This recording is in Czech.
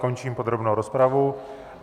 Končím podrobnou rozpravu.